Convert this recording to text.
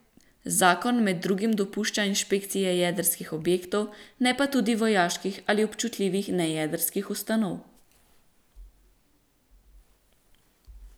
Zakon med drugim dopušča inšpekcije jedrskih objektov, ne pa tudi vojaških ali občutljivih nejedrskih ustanov.